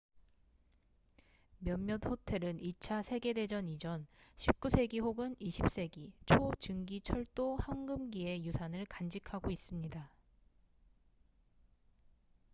몇몇 호텔은 2차 세계대전 이전 19세기 혹은 20세기 초 증기 철도 황금기의 유산을 간직하고 있습니다